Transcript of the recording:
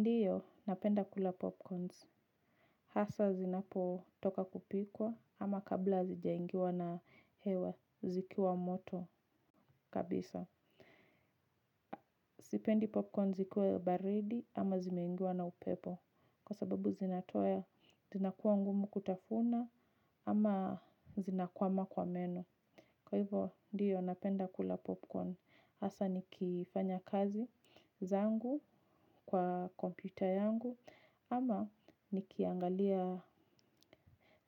Ndiyo napenda kula popcorns, hasa zinapotoka kupikwa ama kabla hazijaingiwa na hewa zikiwa moto kabisa. Sipendi popcorn zikuwe baridi ama zimeingiwa na upepo kwa sababu zinatoya zinakuwa ngumu kutafuna ama zinakwama kwa meno. Kwa hivyo ndiyo napenda kula popcorn. Hasa nikifanya kazi zangu kwa kompyuta yangu ama nikiangalia